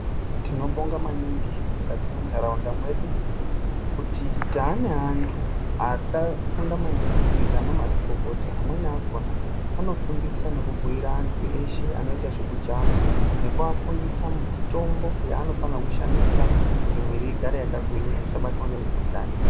Tinobonga maningi mukati mwentaraunda mwedu kuti taane antu akafunda maningi kuita anamazvikokota. Amweni akona anofundisa nekubhuyira antu eshe anoita zvekujavha nekuafundisa mitombo yaanofana kushandisa kuti mwiiri igare yakagwinya isabatwa ngemukuhlani.